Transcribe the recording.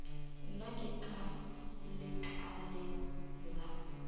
nna ke ka lekaleng la